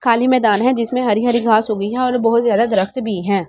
काली मैदान हैं जिसमे हरी हरी घास उगी हैं और बहुत ज़्यादा दरख़्त भी हैं।